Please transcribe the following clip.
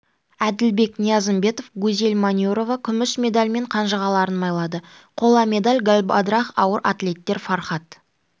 әділбек ниязымбетов гузель манюрова күміс медальмен қанжығаларын майлады қола медаль галбадрах ауыр атлеттер фархад